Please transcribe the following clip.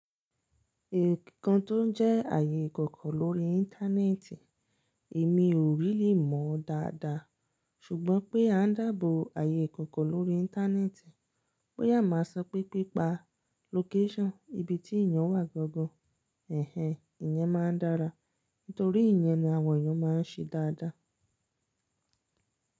Nkan tó ń jẹ́ ààyè ìkọ̀kọ̀ lórí íńtánẹ́ẹ̀tì, èmi ò rili mọ dáadáa. Ṣùgbọ́n pé à ń dààbò ààyè ìkọ̀kọ̀ lórí íńtánẹ́ẹ̀tì, bo ya máa sọ pé pípa lókéṣọ́n ìbí tí èèyàn wà gangan. Ẹ̀hẹn, ìyẹn máa ń dára, nítorí ìyẹn ni àwọn èèyàn máa ń ṣe dáadáa.